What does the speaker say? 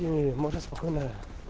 и можно спокойно